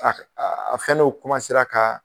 A a fɛnnen o ka